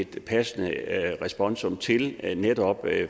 et passende responsum til netop